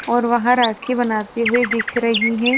और वहां राखी बनाते हुए दिख रही हैं।